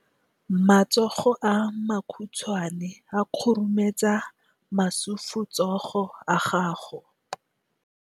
Matsogo a makhutshwane a khurumetsa masufutsogo a gago.